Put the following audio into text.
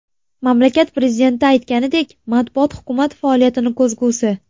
Mamlakat prezidenti aytganidek, matbuot hukumat faoliyatining ko‘zgusi.